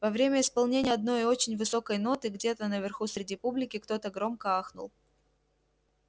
во время исполнения одной очень высокой ноты где-то наверху среди публики кто-то громко ахнул